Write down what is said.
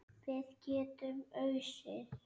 Við getum ausið.